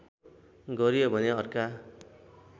गरियो भने अर्का